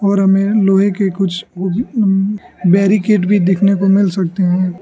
और हमें लोहे के कुछ बैरिकेड भी देखने को मिल सकते हैं।